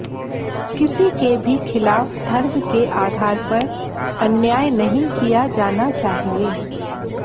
किसी के भी खिलाफ धर्म के आधार पर अन्याय नहीं किया जाना चाहिए